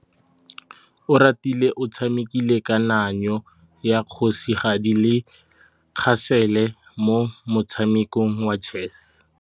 Oratile o tshamekile kananyô ya kgosigadi le khasêlê mo motshamekong wa chess.